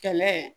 Kɛlɛ